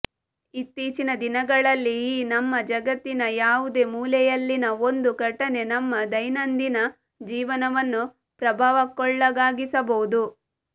ಇತ್ತೀಚಿನ ದಿನಗಳಲ್ಲಿ ಈ ನಮ್ಮ ಜಗತ್ತಿನ ಯಾವುದೇ ಮೂಲೆಯಲ್ಲಿನ ಒಂದು ಘಟನೆ ನಮ್ಮ ದೈನಂದಿನ ಜೀವನವನ್ನು ಪ್ರಭಾವಕ್ಕೊಳಗಾಗಿಸಬಹುದು